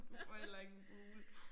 Du får heller ingen fugle